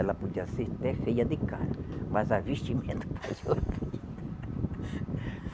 Ela podia ser até feia de cara, mas a vestimenta fazia ela bonita.